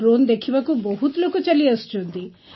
drone ଦେଖିବାକୁ ବହୁତ ଲୋକ ଚାଲିଆସୁଛନ୍ତି